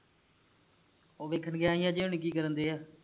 ਔਹ ਵੇਖਣ ਗਿਆ ਹੀ ਅਜੇ ਹੁਣੀ ਕੀ ਕਰਨ ਦਏ ਆ